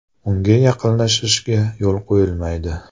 Unga yaqinlashishga yo‘l qo‘yilmaydi.